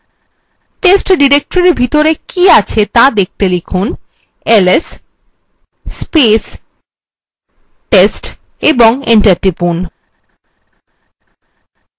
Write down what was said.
test ডিরেক্টরির ভিতরে কী আছে ত়া দেখতে লিখুন ls এবং enter টিপুন